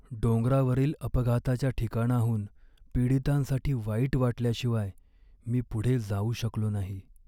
डोंगरावरील अपघाताच्या ठिकाणाहून पीडितांसाठी वाईट वाटल्याशिवाय मी पुढे जाऊ शकलो नाही.